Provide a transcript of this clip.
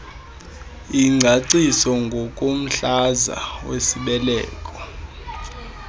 ingcaciso ngomhlaza wesibeleko